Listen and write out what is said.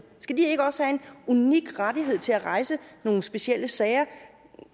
skal de ikke også have en unik ret til at rejse nogle specielle sager